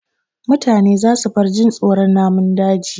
Mutane za su bar jin tsoron namun daji